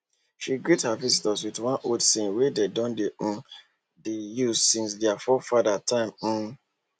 she greet her visitor with one old saying wey dem don um dey use since their forefathers time um